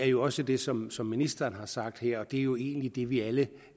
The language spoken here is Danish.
jo også det som som ministeren sagde her og det er jo egentlig det vi alle